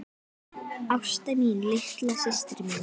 Ásta mín, litla systir mín.